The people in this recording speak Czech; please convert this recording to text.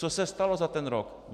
Co se stalo za ten rok?